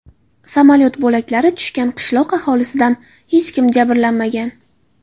Samolyot bo‘laklari tushgan qishloq aholisidan hech kim jabrlanmagan.